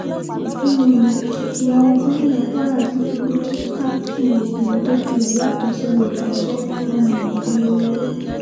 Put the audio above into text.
um ìyàwó gómìnà kwara ti fi rádíkátú obìnrin tọ́jú rẹ̀ yàtọ̀ sẹ́nu ìkọsẹ̀ um o